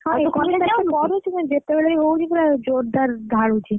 ଯେତବେଳେ ବି ହଉଛି ପୁରା ଜୋରଦାର ଢାଳୁଛି,